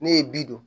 Ne ye bi don